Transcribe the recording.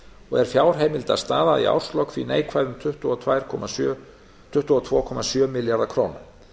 og er fjárheimildastaða í árslok því neikvæð um tuttugu og tvö komma sjö milljarða króna